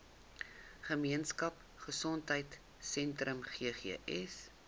gemeenskap gesondheidsentrum ggs